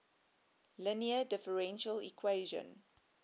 linear differential equation